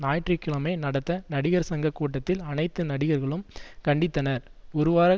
ஞாயிற்று கிழமை நடந்த நடிகர் சங்க கூட்டத்தில் அனைத்து நடிகர்களும் கண்டித்தனர்ஒருவார